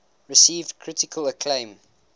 received critical acclaim